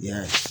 I y'a ye